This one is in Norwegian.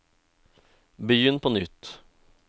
begynn på nytt